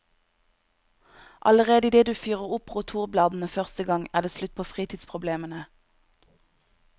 Allerede idet du fyrer opp rotorbladene første gang, er det slutt på fritidsproblemene.